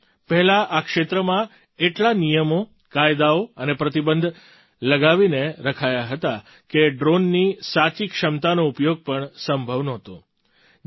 સાથીઓ પહેલાં આ ક્ષેત્રમાં એટલા નિયમો કાયદાઓ અને પ્રતિબંધ લગાવીને રખાયા હતા કે ડ્રૉનની સાચી ક્ષમતાનો ઉપયોગ પણ સંભવ નહોતો